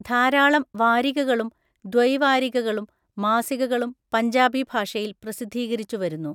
ധാരാളം വാരികകളും ദ്വൈവാരികകളും, മാസികകളും പഞ്ചാബി ഭാഷയിൽ പ്രസിദ്ധീകരിച്ചുവരുന്നു.